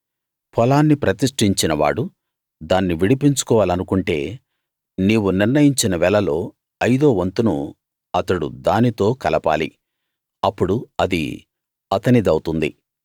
పొలాన్ని ప్రతిష్ఠించినవాడు దాన్ని విడిపించుకోవాలనుకుంటే నీవు నిర్ణయించిన వెలలో ఐదో వంతును అతడు దానితో కలపాలి అప్పుడు అది అతనిదవుతుంది